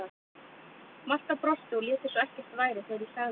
Marta brosti og lét eins og ekkert væri þegar ég sagði henni upp.